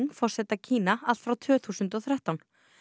forseta Kína allt frá tvö þúsund og þrettán